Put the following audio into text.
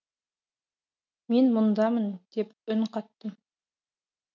мен мұндамын деп үн қаттым